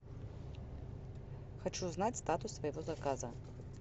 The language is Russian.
хочу знать статус своего заказа